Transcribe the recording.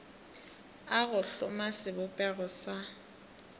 a go hloma sebopego sa